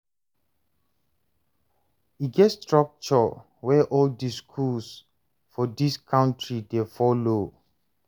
E get structure wey all di skools for dis country dey follow.